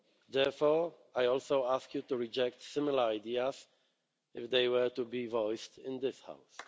Therefore, I also ask you to reject similar ideas, if they were to be voiced in this House.